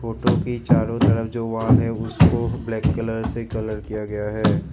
Photo की चारों तरफ जो वॉल है उसको ब्लैक कलर से कलर किया गया है।